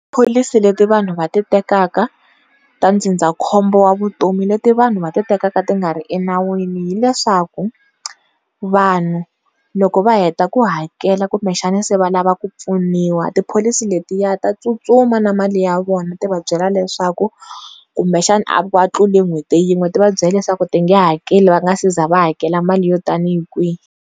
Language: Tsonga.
Tipholisi leti vanhu va ti tekaka ta ndzindzakhombo wa vutomi leti vanhu va titekaka ti nga ri enawini hileswaku, vanhu loko va heta ku hakela kumbexana se valava ku pfuniwa tipholisi letiya ta tsutsuma na mali ya vona ti va byela leswaku, kumbexana va tlule nhweti yin'we ti va byela leswaku ti nge hakeli va nga se za va hakela mali yo tanihi kwihi.